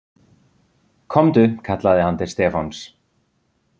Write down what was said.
Komdu kallaði hann til Stefáns.